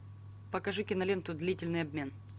покажи киноленту длительный обмен